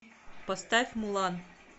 поставь мулан